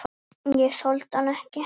Ég þoldi hann ekki.